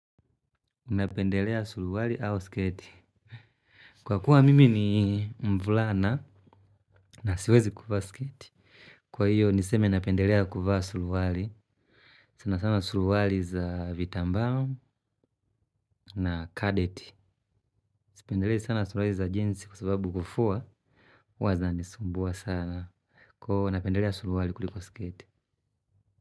Napendelea suruali au sketi. Kwa kuwa mimi ni mvulana na siwezi kuvaa sketi. Kwa hiyo niseme napendelea kuvaa suruali. Sana sana suruali za vitambaa, na kadeti. Sipendelei sana suruwali za jinsi kwa sababu kufua huwa zinanisumbua sana. Napendelea suruali kuliko sketi.